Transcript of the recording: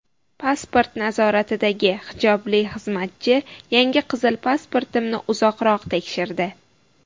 Pasport nazoratidagi hijobli xizmatchi yangi qizil pasportimni uzoqroq tekshirdi.